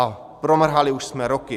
A promrhali jsme už roky.